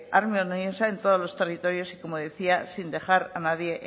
armoniosa en todos los territorios y como decía sin dejar a nadie